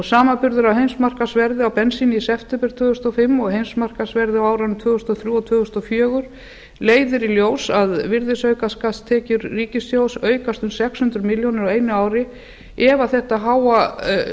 samanburður á heimsmarkaðsverði á bensíni í september tvö þúsund og fimm og heimsmarkaðsverði á árunum tvö þúsund og þrjú og tvö þúsund og fjórar leiðir í ljós að virðisaukaskattstekjur ríkissjóðs aukast um yfir sex hundruð milljóna króna á einu ári ef þetta háa heimsmarkaðsverð